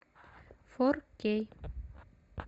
фор кей